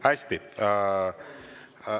Hästi!